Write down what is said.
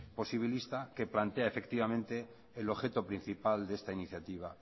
posibilista que plantea el objeto principal de esta iniciativa